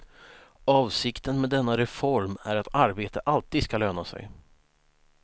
Avsikten med denna reform är att arbete alltid skall löna sig.